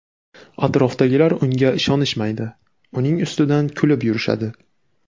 Atrofidagilar unga ishonishmaydi, uning ustidan kulib yurishadi.